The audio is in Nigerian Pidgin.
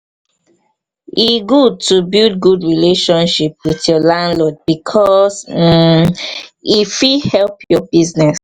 to communicate with landowners dey important to avoid land wahala.